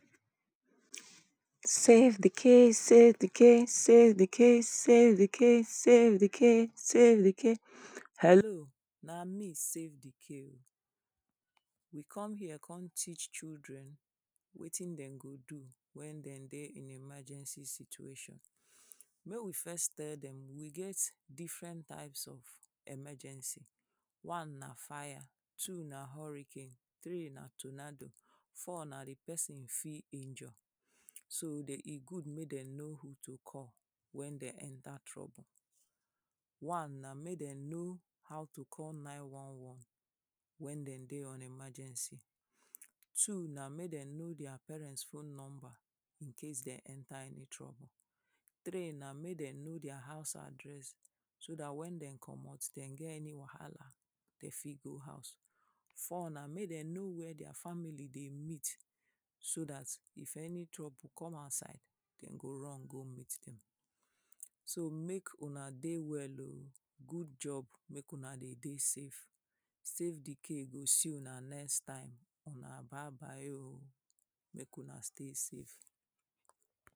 Safe di k, safe di k, safe di k, safe di k, safe di k, safe di k. hello na me safe di k oh, we come here come teach children wetin dey go do wen dey dey emergency situation make we first tell dem we get different types of emergency, one na fire, two na hurricane, three na tornado, four na di pesin fit injure so dey e good wey dey know who to call wen dey enter trouble. One na make dem know how to call nine one one wen dey dey on emergency, two na make dem know dia parent phone number incase dey enter any problem, three na make dem know dia house address so dat wen dem comot dey get any wahala dey fit go house, four na make dem know where dia family dey meet so dat if any problem come outside dem go run go meet dem so make una dey well oh, good job make una dey dey safe. Safe di k go see una next time, una bye bye oh make una dey safe.